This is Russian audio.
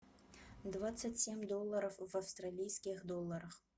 двадцать семь долларов в австралийских долларах